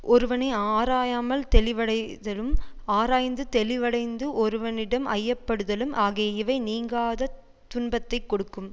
ஒருவனை ஆராயாமல் தெளிவடைதலும் ஆராய்ந்து தெளிவடைந்த ஒருவனிடம் ஐய படுதலும் ஆகிய இவை நீங்காதத் துன்பத்தை கொடுக்கும்